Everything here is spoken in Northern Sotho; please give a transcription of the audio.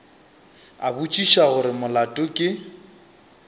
a botšiša gore molato ke